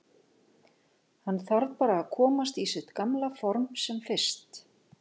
Hann þarf bara að komast í sitt gamla for sem fyrst.